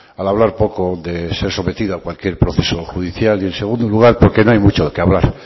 al hablar poco de ser sometido a cualquier proceso judicial y en segundo lugar porque no hay mucho de qué hablar